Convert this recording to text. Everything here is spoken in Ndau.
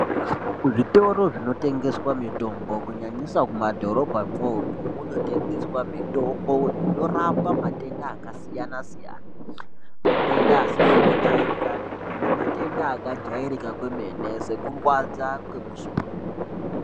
Kuzvitoro zvinotengeswa mitombo kunyanyisa mumadhorobhamwo umwomwo munotengeswa mitombo inorapa matenda akasiyana siyana kunyanya matenda asizi kujairikapi nematenda akajairika kwenene sekurwadza kwemusoro.